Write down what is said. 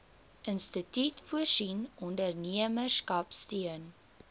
instituut voorsien ondernemerskapsteun